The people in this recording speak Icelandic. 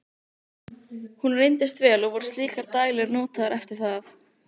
Hún reyndist vel, og voru slíkar dælur notaðar eftir það.